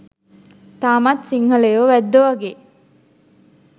තාමත් සිංහලයෝ වැද්දෝ වගේ